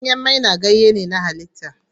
Ganyen maina ganye ne na halitta.